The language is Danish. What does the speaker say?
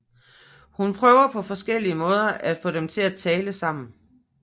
Hun prøver på forskellige måder at få dem til at tale sammen